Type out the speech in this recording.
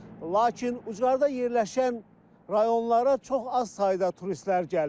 Lakin ucqarda yerləşən rayonlara çox az sayda turistlər gəlir.